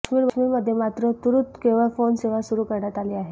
काश्मीरमध्ये मात्र तूर्त केवळ फोन सेवा सुरू करण्यात आली आहे